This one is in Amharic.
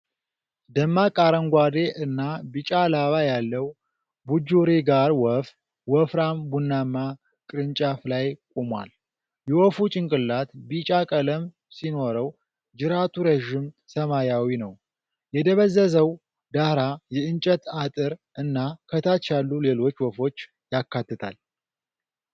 ደማቅ አረንጓዴ እና ቢጫ ላባ ያለው ቡጁሪጋር ወፍ ወፍራም ቡናማ ቅርንጫፍ ላይ ቆሟል። የወፉ ጭንቅላት ቢጫ ቀለም ሲኖረው ጅራቱ ረዥም ሰማያዊ ነው። የደበዘዘው ዳራ የእንጨት አጥር እና ከታች ያሉ ሌሎች ወፎች ያካትታል።